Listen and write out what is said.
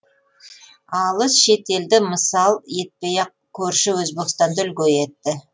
алыс шет елді мысал етпей ақ көрші өзбекстанды үлгі етті